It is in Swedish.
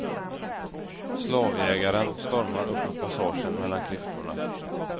Slavjägaren stormar upp mot passagen mellan klyftorna.